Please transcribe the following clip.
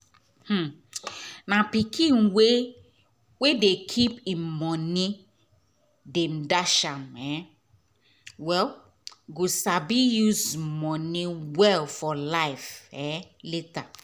um na pikin wey dey keep im moni dem dash am um well go sabi use moni well for life um later